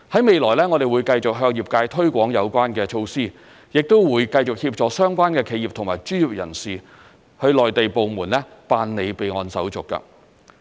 未來，我們會繼續向業界推廣有關措施，亦會繼續協助相關企業和專業人士向內地部門辦理備案手續。